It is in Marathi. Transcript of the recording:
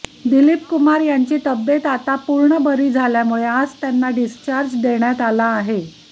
दिलीप कुमार यांची तब्येत आता पूर्ण बरी झाल्यामुळे आज त्यांना डिस्चार्ज देण्यात आला आहे